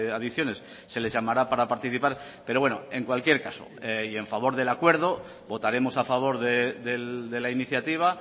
adicciones se les llamará para participar pero bueno en cualquier caso y en favor del acuerdo votaremos a favor de la iniciativa